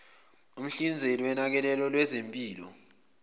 umhlinzeki wonakekelo lwezempilo